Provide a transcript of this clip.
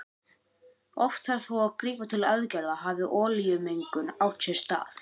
Oft þarf þó að grípa til aðgerða hafi olíumengun átt sér stað.